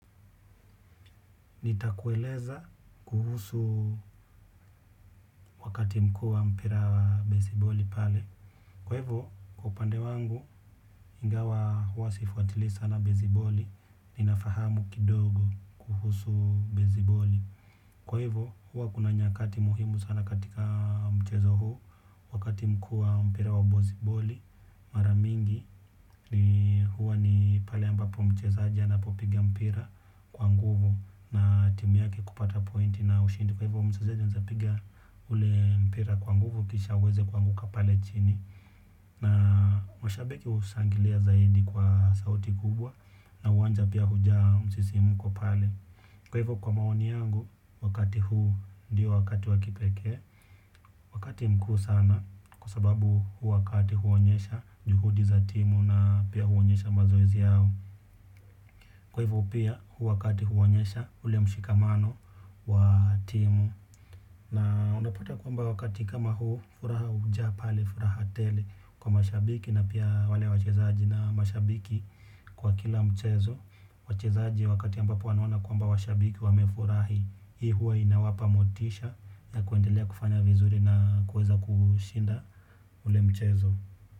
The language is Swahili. Nitakueleza kuhusu wakati mkua mpira wa beziboli pale. Kwa hivyo kwa upande wangu ingawa hua sifuatili sana beziboli. Ninafahamu kidogo kuhusu beziboli. Kwa hivyo hua kuna nyakati muhimu sana katika mchezo huu. Wakati mkua mpira wa beziboli maramingi ni huwa ni pale ambapo mchezaji anapopiga mpira kwa nguvu. Na timu yake kupata pointi na ushindi. Kwa hivyo mchezaji anaweza piga ule mpira kwa nguvu kisha uweze kuanguka pale chini. Na mashabiki hushangilia zaidi kwa sauti kubwa. Na uwanja pia huja msisimuko pale. Kwa hivyo kwa maoni yangu wakati huu ndiyo wakati wa kipekee. Wakati mkuu sana kwa sababu wakati huonyesha juhudi za timu na pia huonyesha mazoezi yao. Kwa hivyo pia, huu wakati huonyesha ule mshikamano wa timu. Na unapata kwamba wakati kama huu, furaha hujaa pale, furaha tele kwa mashabiki na pia wale wachezaji na mashabiki kwa kila mchezo. Wachezaji wakati ambapo wanaona kwamba washabiki wamefurahi, hii huwa inawapa motisha ya kuendelea kufanya vizuri na kuweza kushinda ule mchezo.